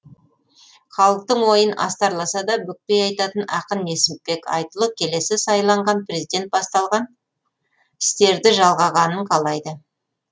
халықтың ойын астарласа да бүкпей айтатын ақын несіпбек айтұлы келесі сайланған президент басталған істерді жалғағанын қалайды